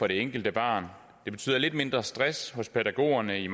det enkelte barn og det betyder lidt mindre stress hos pædagogerne i